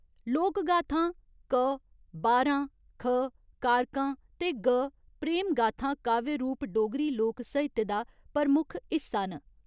लोकगाथां क, बारां, ख, कारकां ते ग, प्रेमगाथां काव्य रूप डोगरी लोक साहित्य दा प्रमुख हिस्सा न।